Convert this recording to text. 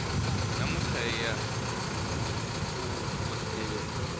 namuntlha hiya ku vhoteni